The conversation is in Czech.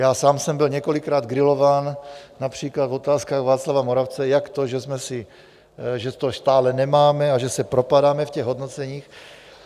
Já sám jsem byl několikrát grilován, například v Otázkách Václava Moravce, jak to, že to stále nemáme a že se propadáme v těch hodnoceních.